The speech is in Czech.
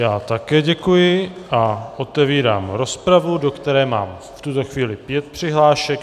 Já také děkuji a otevírám rozpravu, do které mám v tuto chvíli pět přihlášek.